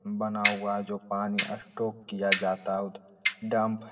बना हुआ जो पानी स्टोक किया जाता है डंप --